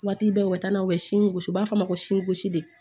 Waati bɛɛ u ka taa n'a ye u bɛ si gosi u b'a fɔ a ma ko sosi de